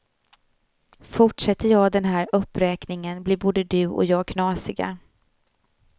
Fortsätter jag den här uppräkningen blir både du och jag knasiga.